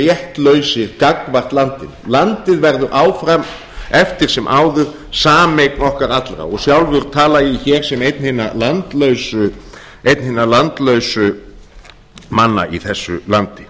réttlausir gagnvart landinu landið verður áfram eftir sem áður sameign okkar allra og sjálfur tala ég hér sem einn hinna landlausu manna í þessu landi